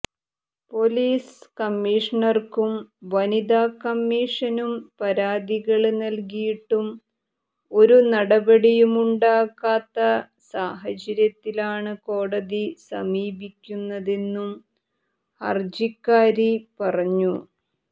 police കമ്മിഷണര്ക്കും വനിതാ കമ്മിഷനും പരാതികള് നല്കിയിട്ടും ഒരു നടപടിയുമുണ്ടാകാത്ത സാഹചര്യത്തിലാണ് കോടതി സമീപിക്കുന്നതെന്നും ഹര്ജിക്കാരി പറഞ്ഞു